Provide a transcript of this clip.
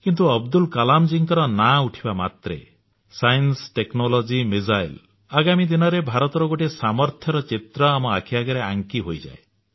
କିନ୍ତୁ ଅବଦୁଲ କଲାମ ଜୀଙ୍କର ନାଁ ଉଠିବା ମାତ୍ରେ ବିଜ୍ଞାନ କାରିଗରୀ କୌଶଳ କ୍ଷେପଣାସ୍ତ୍ର ଆଗାମୀ ଦିନର ଭାରତର ଗୋଟିଏ ସାମର୍ଥ୍ୟର ଚିତ୍ର ଆମ ଆଖି ଆଗରେ ଆଙ୍କି ହୋଇଯାଏ